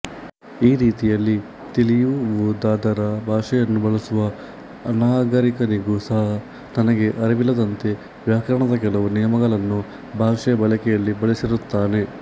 ಈ ರೀತಿಯಲ್ಲಿ ತಿಳಿಯುವುದಾದರ ಭಾಷೆಯನ್ನು ಬಳಸುವ ಅನಾಗರಿಕನಿಗೂ ಸಹ ತನಗೆ ಅರಿವಿಲ್ಲದಂತೆ ವ್ಯಾಕರಣದ ಕೆಲವು ನಿಯಮಗಳನ್ನು ಭಾಷೆಯ ಬಳಕೆಯಲ್ಲಿ ಬಳಸಿರುತ್ತಾನೆ